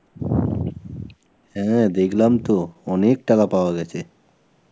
হ্যাঁ দেখলাম তো, অনেক টাকা পাওয়া গেছে.